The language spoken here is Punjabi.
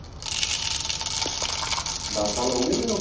ਦੱਸ ਸਾਲ ਹੋ ਗਏ